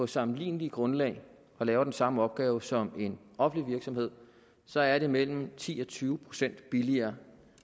sammenligneligt grundlag og laver den samme opgave som en offentlig virksomhed så er det mellem ti og tyve procent billigere